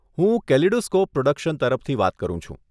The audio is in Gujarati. હું કેલિડોસ્કોપ પ્રોડક્શન તરફથી વાત કરું છું.